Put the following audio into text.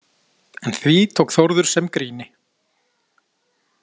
En því tók Þórður sem gríni.